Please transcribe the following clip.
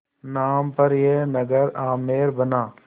नाम पर यह नगर आमेर बना